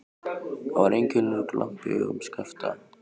Það var einkennilegur glampi í augum Skapta.